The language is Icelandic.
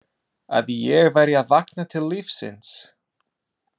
Að ég væri að vakna til lífsins.